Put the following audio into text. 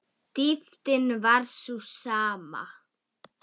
Dýptin var sú sama.